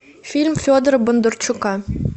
фильм федора бондарчука